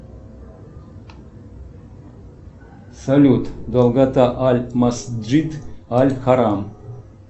салют долгота аль масджид аль харам